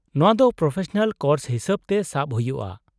-ᱱᱚᱶᱟ ᱫᱚ professional course ᱦᱤᱥᱟᱹᱵᱛᱮ ᱥᱟᱵ ᱦᱩᱭᱩᱜᱼᱟ ᱾